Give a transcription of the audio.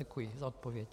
Děkuji za odpověď.